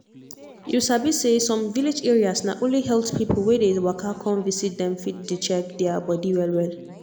you sabi say some village areas na only health people wey dey waka come visit dem fit dey check their body well well.